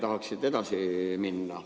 Tahaks edasi minna.